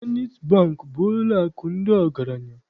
Zenit Bankị bụ ụlọakụ ndị ọgaranya.